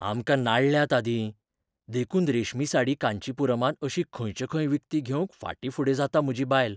आमकां नाडल्यात आदीं, देखून रेशमी साडी कांचीपुरमांत अशी खंयचेखंय विकती घेवंक फाटीं फुडें जाता म्हजी बायल.